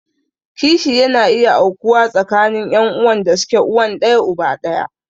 Kishi yana iya aukuwa tsakanin ƴan'uwan da suke uwan ɗaya uba ɗaya.